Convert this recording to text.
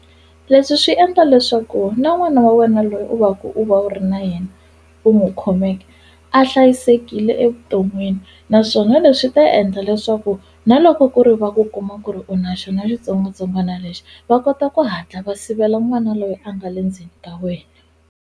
Leswi swi endla leswaku na n'wana wa wena loyi u va ku u va u ri na yena u n'wi khomeke a hlayisekile evuton'wini naswona leswi ta endla leswaku na loko ku ri va ku kuma ku ri u na xona xitsongwatsongwana lexi va kota ku hatla va sivela n'wana loyi a nga le ndzeni ka wena.